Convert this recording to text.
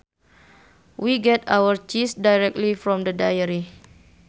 We get our cheese directly from the dairy